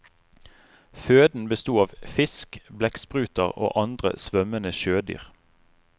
Føden besto av fisk, blekkspruter og andre svømmende sjødyr.